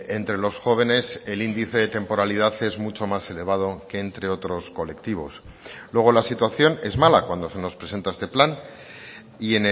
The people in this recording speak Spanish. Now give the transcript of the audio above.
entre los jóvenes el índice de temporalidad es mucho más elevado que entre otros colectivos luego la situación es mala cuando se nos presenta este plan y